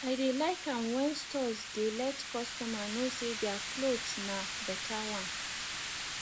i dey like am when stores dey let customer know say their cloths na better one